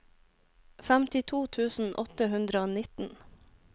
femtito tusen åtte hundre og nitten